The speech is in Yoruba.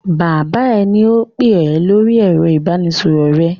Bàbá rẹ ni ó ń pè ọ lórí ẹ̀rọ ìbanisọ̀rọ̀ rẹ.